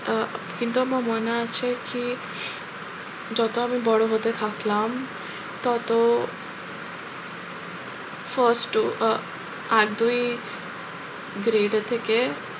আহ কিন্তু আমার মনে আছে কি যত আমি বড়ো হতে থাকলাম তত first আহ এক দুই grade এর থেকে